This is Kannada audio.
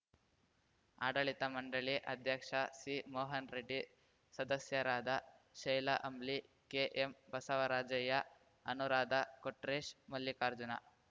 ಆಡಳಿತ ಮಂಡಳಿ ಅಧ್ಯಕ್ಷ ಸಿಮೋಹನ್‌ ರೆಡ್ಡಿ ಸದಸ್ಯರಾದ ಶೈಲಾ ಅಂಬ್ಲಿ ಕೆಎಂ ಬಸವರಾಜಯ್ಯ ಅನುರಾಧ ಕೊಟ್ರೇಶ್‌ ಮಲ್ಲಿಕಾರ್ಜುನ